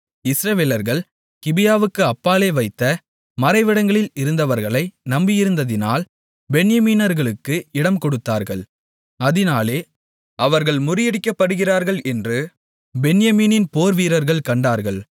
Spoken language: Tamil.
இஸ்ரவேலர்கள் கிபியாவுக்கு அப்பாலே வைத்த மறைவிடங்களில் இருந்தவர்களை நம்பியிருந்ததினால் பென்யமீனர்களுக்கு இடம் கொடுத்தார்கள் அதினாலே அவர்கள் முறியடிக்கப்படுகிறார்கள் என்று பென்யமீனின் போர்வீரர்கள் கண்டார்கள்